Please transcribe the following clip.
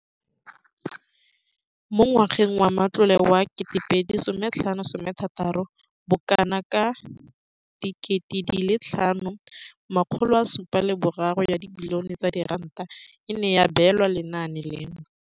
Mo ngwageng wa matlole wa 2015,16, bokanaka R5 703 bilione e ne ya abelwa lenaane leno.